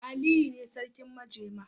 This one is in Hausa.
Aliyu ne sarkin majema.